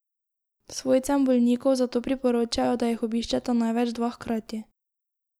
Svojcem bolnikov zato priporočajo, da jih obiščeta največ dva hkrati.